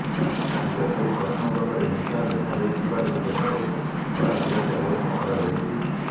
ବିଶେଷ କରି ପଶ୍ଚିମବଙ୍ଗରେ ହିଂସା ଦେଖାଦେଇଥିବାରୁ ସେଠାରେ କଡ଼ା ସୁରକ୍ଷା ବ୍ୟବସ୍ଥା କରାଯାଇଛି